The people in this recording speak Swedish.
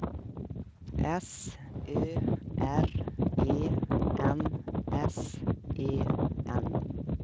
S Ö R E N S E N